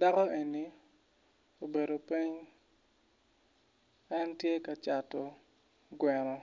Dako eni obedo piny en tye ka Cato gweno